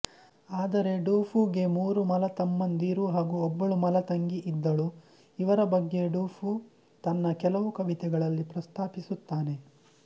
ಆದರೆ ಡುಫೂಗೆ ಮೂರು ಮಲತಮ್ಮಂದಿರು ಹಾಗೂ ಒಬ್ಬಳು ಮಲತಂಗಿ ಇದ್ದಳು ಇವರ ಬಗ್ಗೆ ಡುಫೂ ತನ್ನ ಕೆಲವು ಕವಿತೆಗಳಲ್ಲಿ ಪ್ರಸ್ತಾಪಿಸುತ್ತಾನೆ